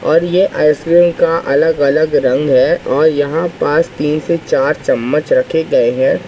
और ये आइसक्रीम का अलग-अलग रंग हैं और यहाँ पास तीन से चार चम्मच रखे गए हैं।